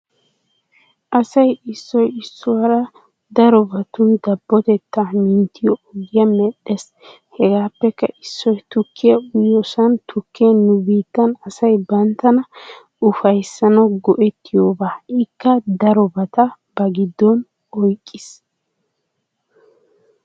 Asay issiyo issuwara darobattun dabbotteta minttiyo oggiya medhdhees. Hegappeka issoy tukkiya uyihoosana tukkee nu biittan asay banttana uffayissanawu go"ettiyooba ikka darobata ba giddon oyiqqiis.